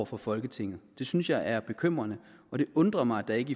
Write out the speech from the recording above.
for folketinget det synes jeg er bekymrende og det undrer mig at der ikke